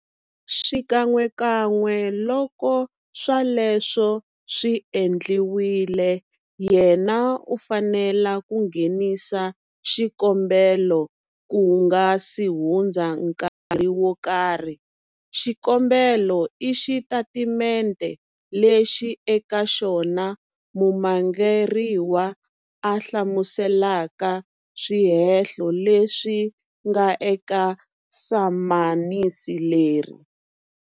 Xikan'wekan'we loko swoleswo swi endliwile, yena u fanele ku nghenisa xikombelo ku nga si hundza nkarhi wo karhi. Xikombelo i xitatimente lexi eka xona mumangaleriwa a hlamuselaka swihehlo leswi nga eka samanisi leri.